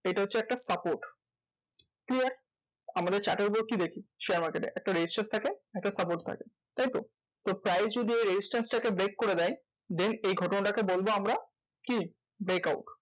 এটা হচ্ছে একটা support. clear? আমাদের chart এর উপর কি দেখি? share market এ একটা resistant থাকে আর একটা support থাকে তাই তো? তো price যদি এই resistance টাকে break করে দেয় then এই ঘটনাটাকে বলবো আমরা, কি? brackout.